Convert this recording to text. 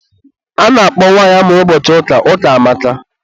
a na-akpọ nwanyi amụrụ ụbọchị ụka, Ukamaka.